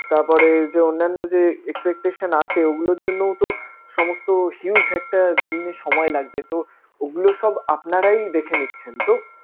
তারপরে যে অন্যান্য যে expectation আছে ঐগুলোর জন্যও তো সমস্ত huge একটা দিন সময় লাগবে তো ওগুলো সব আপনারাই দেখে নিচ্ছেন তো?